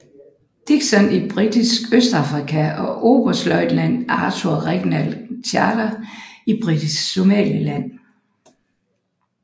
Dickinson i Britisk Østafrika og oberstløjtnant Arthur Reginald Chater i Britisk Somaliland